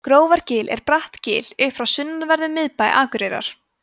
grófargil er bratt gil upp frá sunnanverðum miðbæ akureyrar